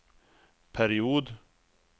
period